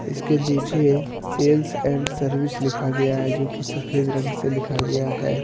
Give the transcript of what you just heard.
इसके नीचे sales and service लिखा गया है जो की सफेद रंग से लिखा गया है।